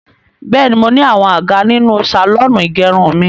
Bẹ́ẹ̀ni, mo ní àwọn àga nínú sàlọ́ọ̀nù ìgẹrun mi.